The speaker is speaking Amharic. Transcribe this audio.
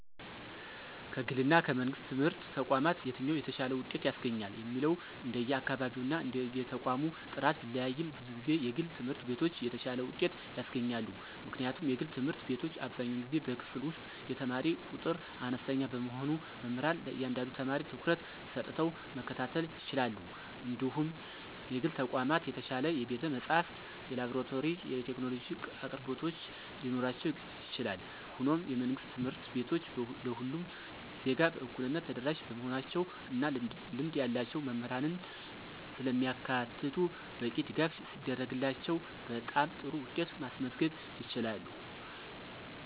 ከግልና ከመንግሥት ትምህርት ተቋማት የትኛው የተሻለ ውጤት ያስገኛል የሚለው እንደየአካባቢውና እንደየተቋሙ ጥራት ቢለያይም፣ ብዙ ጊዜ የግል ትምህርት ቤቶች የተሻለ ውጤት ያስገኛሉ። ምክንያቱም የግል ትምህርት ቤቶች አብዛኛውን ጊዜ በክፍል ውስጥ የተማሪ ቁጥር አነስተኛ በመሆኑ መምህራን ለእያንዳንዱ ተማሪ ትኩረት ሰጥተው መከታተል ይችላሉ እንዲሁም የግል ተቋማት የተሻለ የቤተ-መጻሕፍት፣ የላብራቶሪና የቴክኖሎጂ አቅርቦቶች ሊኖራቸው ይችላል። ሆኖም፣ የመንግሥት ትምህርት ቤቶች ለሁሉም ዜጋ በእኩልነት ተደራሽ በመሆናቸው እና ልምድ ያላቸው መምህራንን ስለሚያካትቱ በቂ ድጋፍ ሲደረግላቸው በጣም ጥሩ ውጤት ማስመዝገብ ይችላሉ።